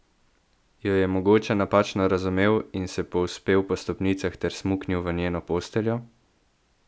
Jo je mogoče napačno razumel in se povzpel po stopnicah ter smuknil v njeno posteljo?